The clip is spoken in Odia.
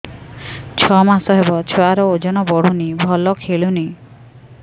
ଛଅ ମାସ ହବ ଛୁଆର ଓଜନ ବଢୁନି ଭଲ ଖେଳୁନି